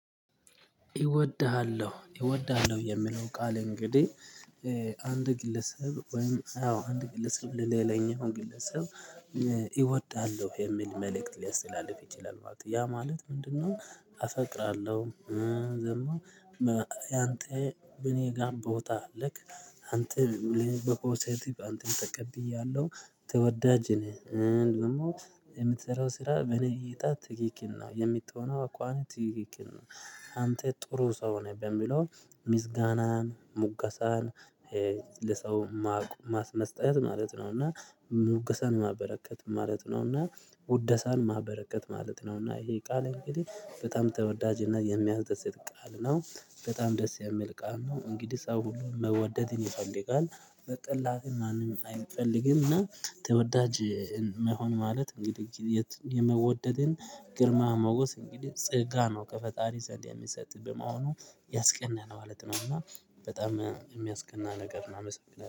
ይወድሃለሁ ይወድሃለሁ የምለው ቃል እንግዲህ አንድ ግለሰብ ወይም አንድ ግለሰብ ለሌላኛው ግለሰብ እወዳለሁ የሚል መልእክት ሊያስተላልፍ ይችላል ማለት ነው። ያ ማለት ምንድ ነው? አፈቅራለሁ ደግሞ ያንተ በእኔ ጋር ቦታ አለክ። አንተ በፖዘቲቭ አንተን ተቀብያለሁ። ተወዳጅ ነህ። እንደውም የምትሰራው ስራ በነገይታ ትክክል ነው የምትሆነው አኳኋን ትክክል ነው። አንተ ጥሩ ሰው ነህ በሚለው ምስጋናን ሙገሳን ለሰው ማስመስጠት ማለት ነውና። ሙገሰን ማበረከት ማለት ነውና። ውደሳን ማበረከት ማለት ነውና። ይሄ ቃል እንግዲህ በጣም ተወዳጅ እና የሚያስደስት ቃል ነው። በጣም ደስ የሚል ቃል ነው። እንግዲህ ሰው ሁሉን መወደድን ይፈልጋል። መጠላትን ማንም አይፈልግም። እና ተወዳጅ መሆን ማለት እንግዲህ የመወደድን ግርማ መውገስ እንግዲህ ጽጋ ነው። ከፈጣሪ ዘንድ የሚሰጥብህ በመሆኑ ያስቀና ነው ማለት ነው። እና በጣም የሚያስቀና ነገር ነው። አመሰግናለሁ